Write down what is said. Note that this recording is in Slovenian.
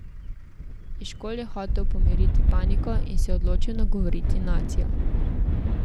Eškol je hotel pomiriti paniko in se je odločil nagovoriti nacijo.